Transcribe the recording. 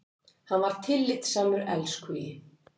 Hann var tillitssamur elskhugi.